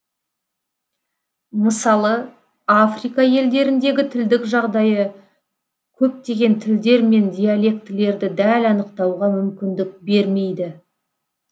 мысалы африка елдеріндегі тілдік жағдайы көптеген тілдер мен диалектілерді дәл анықтауға мүмкіндік бермейді